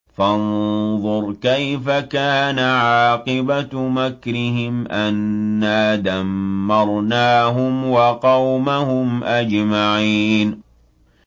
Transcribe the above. فَانظُرْ كَيْفَ كَانَ عَاقِبَةُ مَكْرِهِمْ أَنَّا دَمَّرْنَاهُمْ وَقَوْمَهُمْ أَجْمَعِينَ